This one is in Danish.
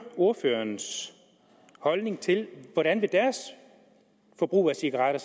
ordførerens holdning til hvordan deres forbrug af cigaretter